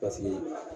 Paseke